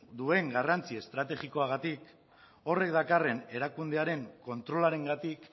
duen garrantzi estrategikoagatik horrek dakarren erakundearen kontrolarengatik